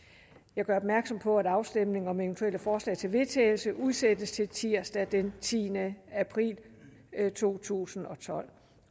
jeg gør opmærksom på at afstemning om eventuelle forslag til vedtagelse udsættes til tirsdag den tiende april to tusind og tolv